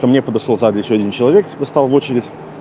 ко мне подошёл сзади ещё один человек типа стал в очередь